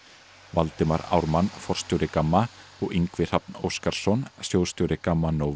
Valdimar Ármann forstjóri GAMMA og Ingvi Hrafn Óskarsson sjóðsstjóri GAMMA